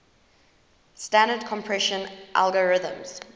standard compression algorithms